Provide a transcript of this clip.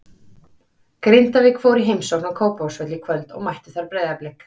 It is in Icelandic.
Grindavík fór í heimsókn á Kópavogsvöll í kvöld og mættu þar Breiðablik.